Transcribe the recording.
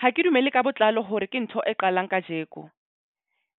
Ha ke dumele ka botlalo hore ke ntho e qalang kajeko.